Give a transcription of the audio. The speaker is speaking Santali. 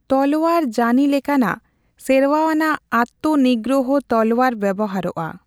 ᱛᱚᱞᱚᱣᱟᱨ ᱡᱟᱱᱤ ᱞᱮᱠᱟᱱᱟᱜ ᱥᱮᱨᱣᱟ ᱟᱱᱟᱜ ᱟᱛᱛᱚᱱᱤᱜᱽᱜᱨᱚᱦᱚ ᱛᱚᱞᱚᱣᱟᱨ ᱵᱮᱣᱦᱟᱨᱚᱜᱼᱟ ᱾